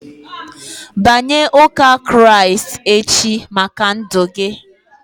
Banye ụka Kraịst echi maka ndụ gị!